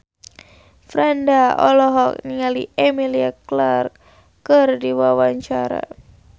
Franda olohok ningali Emilia Clarke keur diwawancara